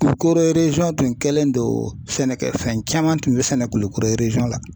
Kulukɔrɔ tun kɛlen don sɛnɛkɛfɛn caman tun bɛ sɛnɛ Kulukɔrɔ la